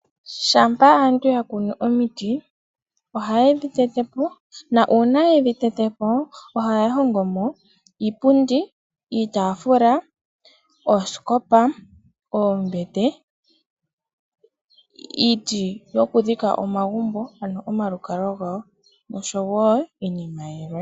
Shampa aantu ya kunu omiti, oha yedhi tetepona uuna yedhi tetepo, ohaya hongomo iipundi, iitafula, ooskopa, oombete, iiti yoku dhika omagumbogoku dhika omalukalwa gawo osho wo iinima yilwe.